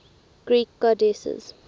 greek goddesses